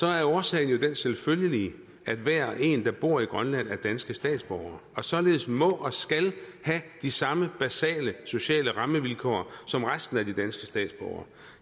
er årsagen jo den selvfølgelige at hver og en der bor i grønland er danske statsborgere og således må og skal have de samme basale sociale rammevilkår som resten af de danske statsborgere